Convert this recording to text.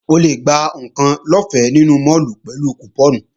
O lè gba àwọn ǹkan lọ́fẹ́ nínú máàlù pẹ̀lú kùpọ́ọ̀nù